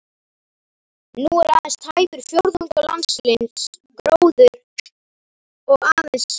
Nú er aðeins tæpur fjórðungur landsins gróinn og aðeins